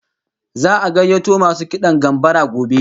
Za'a gayyato masu kidan gambara gobe